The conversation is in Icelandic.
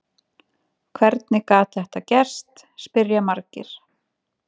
Hvernig gat þetta gerst? spyrja margir.